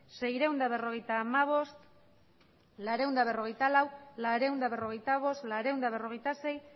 seiehun eta berrogeita hamabost laurehun eta berrogeita lau laurehun eta berrogeita bost laurehun eta berrogeita sei